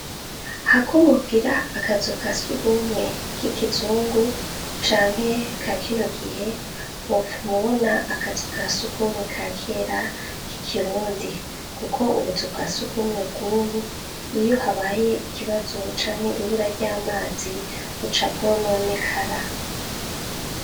Hakubogira akazu kasugwumwe k'ikizungu canke ka kino gihe wopfum'ubona akazu kasugumwe ka kera k'ikirundi kuko ubuzu bwasugmwe bw'ubu iyo habaye ikibazo canke ibura ry'amazi buca bwononekara.